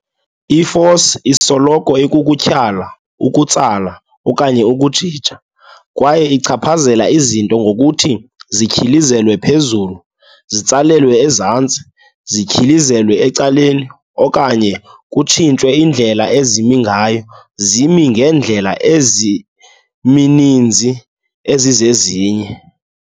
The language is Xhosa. I-force isoloko ikukutyhala, ukutsala, okanye ukujija, kwaye ichaphazela izinto ngokuthi zityhilizelwe phezulu, zitsalelwe ezantsi, zityhilizelwe ecaleni, okanye kutshintshwe indlela ezimi ngayo zimi ngeendlela ezimininzi ezizezinye.